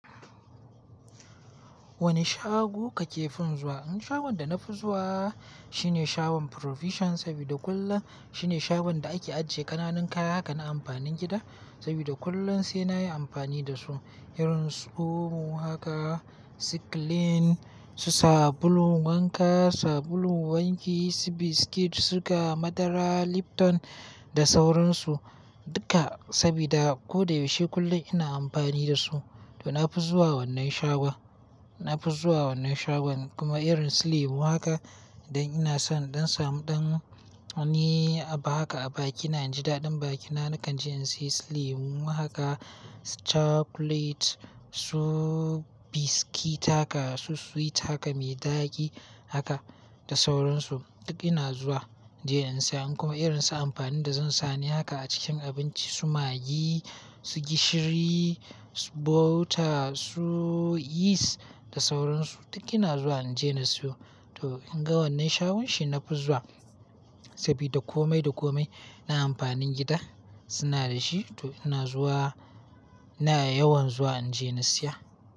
Wane shago kake fin zuwa? An shagon da na fi zuwa shine shagon Provision sabida kullum shine shagon da ake ajiye ƙananan kaya kan amfanin gida. Sabida kullum sai nayi amfani da su irin su komo haka, siklin, su sabulun wanka, sabulun wanki, su biskit, su ga madara, Lipton da sauransu duka sabida ko da yaushe kullum ina amfani da su. To na fi zuwa wannan shagon, na fi zuwa wannan shagon kuma irin su lemu haka dan ina son dan samu ɗan wani aba haka a bakina. In ji daɗin bakina nakan je in siya lemu haka, chocolate, su biskit haka, su sweet haka mai daɗi haka da sauransu duk ina zuwa in je in siya. Kuma irin su amfanin da zan sani haka a cikin abinci su magi, su gishiri, su butter, su yeast da sauransu duk ina zuwa in je na siyo. To inga wannan shagon shi na fi zuwa sabida komai da komai na amfanin gida suna da shi. To ina zuwa, ina yawan zuwa in je na siya.